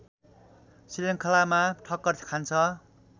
श्रृखङ्लामा ठक्कर खान्छ